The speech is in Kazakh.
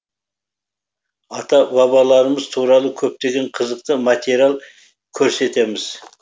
ата бабаларымыз туралы көптеген қызықты материал көрсетеміз